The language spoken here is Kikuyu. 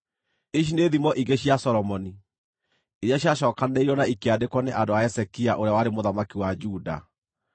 Ici nĩ thimo ingĩ cia Solomoni, iria ciacookanĩrĩirio na ikĩandĩkwo nĩ andũ a Hezekia ũrĩa warĩ mũthamaki wa Juda: